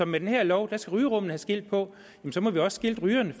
med den her lov skal rygerummene have skilt på men så må vi også skilte rygerne